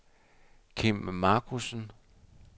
Kim Markussen